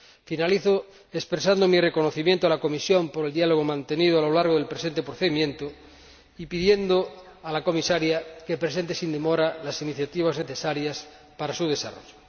Finalizo expresando mi reconocimiento a la Comisión por el diálogo mantenido a lo largo del presente procedimiento y pidiendo al Comisario que presente sin demora las iniciativas necesarias para su desarrollo.